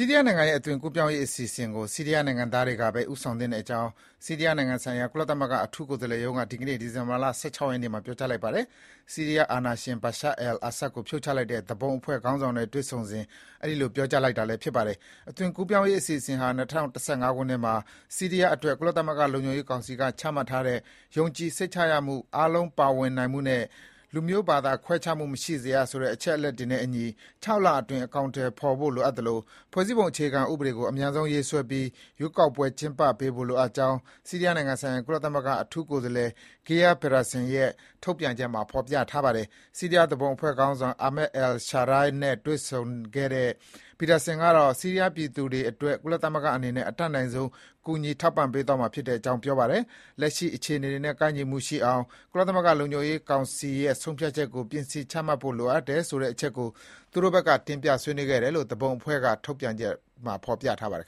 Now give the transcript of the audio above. ီးရီးယားနိုင်ငံရဲ့ အသွင်ကူးပြောင်းရေးအစီအစဉ်ကို ဆီးရီးယားနိုင်ငံသားတွေကပဲ ဦးဆောင်သင့် ကြောင်း ဆီးရီးယားနိုင်ငံဆိုင်ရာ ကုလသမဂ္ဂ အထူးကိုယ်စားလှယ်ရုံးက ဒီကနေ့ ဒီဇင်ဘာ ၁၆ ရက်နေ့မှာ ပြောကြားလိုက်ပါတယ်။ ဆီးရီးယား အာဏာရှင် Bashar al-Assad ကို ဖြုတ်ချလိုက်တဲ့ သူပုန်အဖွဲ့ခေါင်းဆောင်နဲ့ တွေ့ဆုံစဉ် အဲဒီလို ပြောကြားလိုက်တာလည်း ဖြစ်ပါတယ်။ ဒီအသွင်ကူးပြောင်းရေးအစီအစဉ်ဟာ ၂၀၁၅ ခုနှစ်မှာ ဆီးရီးယားအတွက် ကုလသမဂ္ဂ လုံခြုံရေး ကောင်စီက ချမှတ်ထားတဲ့ “ယုံကြည်စိတ်ချရမှု၊ အားလုံး ပါဝင်နိုင်မှုနဲ့ လူမျိုး ဘာသာခွဲခြားမှုမရှိစေရ” - ဆိုတဲ့ အချက်တွေနဲ့အညီ ၆ လအတွင်း အကောင်အထည်ဖော်ဖို့လိုအပ်သလို ဖွဲ့စည်းပုံ အခြေခံဥပဒေ ကို အမြန်ဆုံးရေးဆွဲပြီး ရွေးကောက်ပွဲကျင်းပပေးဖို့လိုအပ်ကြောင်း ဆီးရီးယားနိုင်ငံဆိုင်ရာ ကုလသမဂ္ဂ အထူးကိုယ်စားလှယ် Geir Pederson ရုံးရဲ့ ထုတ်ပြန်ချက်မှာ ဖော်ပြထားပါတယ်။ ဆီးရီးယား သူပုန်အဖွဲ့ခေါင်းဆောင် Ahmad al-Sharaa နဲ့ တွေ့ဆုံခဲ့တဲ့ Pederson ကတော့ ဆီးရီးယား ပြည်သူတွေအတွက် ကုလသမဂ္ဂအနေနဲ့ အတတ်နိုင်ဆုံး ကူညီပံ့ပိုးပေးသွားမှာဖြစ်ကြောင်း ပြောပါတယ်။ လက်ရှိအခြေအနေတွေနဲ့ ကိုက်ညီအောင် ကုလသမဂ္ဂရဲ့ ဆုံးဖြတ်ချက်ကို ပြင်ဆင် ချမှတ်ဖို့ လိုအပ်တယ်ဆိုတဲ့အချက်ကို သူတို့ဘက်က တင်ပြဆွေးနွေးခဲ့ကြောင်း သူပုန်အဖွဲ့ဘက်က ထုတ်ပြန်တဲ့ ကြေညာချက်မှာ ဖော်ပြထားပါတယ်